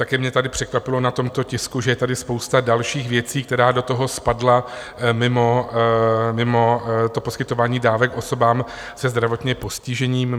Také mě tady překvapilo na tomto tisku, že je tady spousta dalších věcí, která do toho spadla mimo to poskytování dávek osobám se zdravotním postižením.